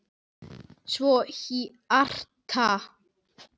Svo hjarta.